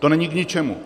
To není k ničemu.